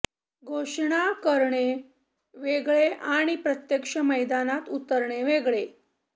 घोषणा करणे वेगळे आणि प्रत्यक्ष मैदानात उतरणे वेगळे